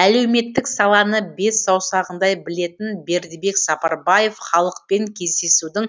әлеуметтік саланы бес саусағындай білетін бердібек сапарбаев халықпен кездесудің